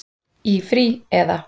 Í frí. eða?